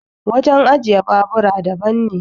wajen ajiye babura daban ne